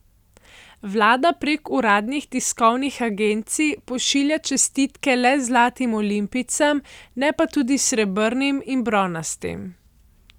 Vlada prek uradnih tiskovnih agencij pošilja čestitke le zlatim olimpijcem, ne pa tudi srebrnim in bronastim.